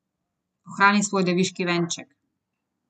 Ohrani svoj deviški venček.